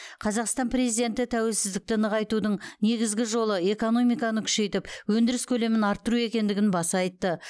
қазақстан президенті тәуелсіздікті нығайтудың негізгі жолы экономиканы күшейтіп өндіріс көлемін арттыру екендігін баса айтты